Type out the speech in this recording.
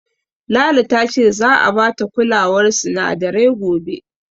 Lala ta ce za'a bata kulawar sinadarai gobe.